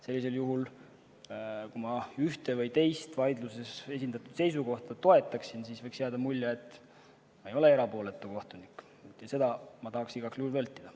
Sellisel juhul, kui ma ühte või teist vaidluses esindatud seisukohta toetaksin, võiks jääda mulje, et ma ei ole erapooletu kohtunik, ja seda ma tahaksin igal juhul vältida.